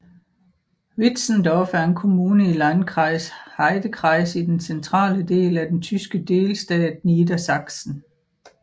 Wietzendorf er en kommune i Landkreis Heidekreis i den centrale del af den tyske delstat Niedersachsen